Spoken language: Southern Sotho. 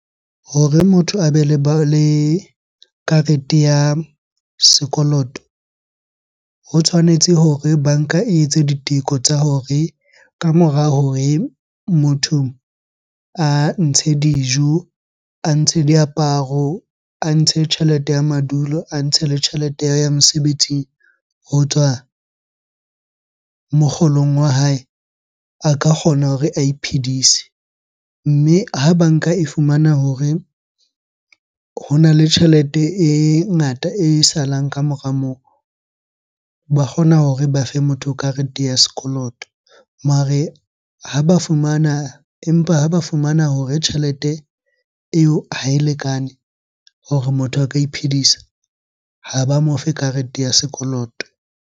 Hore motho a be le karete ya sekoloto. Ho tshwanetse hore banka e etse diteko tsa hore ka mora hore motho a ntshe dijo, a ntshe diaparo, a ntshe tjhelete ya madulo, a ntshe le tjhelete ya ho ya mosebetsing ho tswa mokgolong wa hae, a ka kgona hore a iphidise. Mme ha banka e fumana hore hona le tjhelete e ngata e salang ka mora moo, ba kgona hore ba fe motho karete ya sekoloto. Mare ha ba fumana, empa ha ba fumana hore tjhelete eo ha e lekane hore motho a ka iphedisa. Ha ba mo fe karete ya sekoloto.